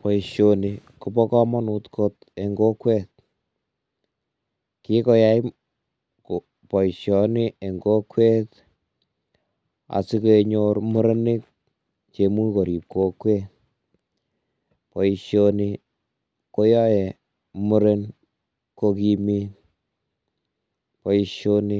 Boisioni Kobo kamonut kot enn kokwet, kikoyai boisioni eng kokwet asikenyor murenik che imuch korib kokwet, boisioni koyae muren kokimit boisioni